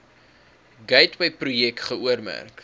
gateway projek geoormerk